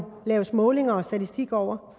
laves målinger og statistikker over